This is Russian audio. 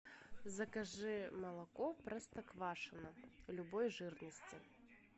закажи молоко простоквашино любой жирности